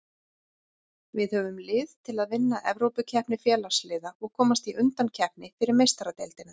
Við höfum lið til að vinna Evrópukeppni Félagsliða og komast í undankeppni fyrir Meistaradeildina.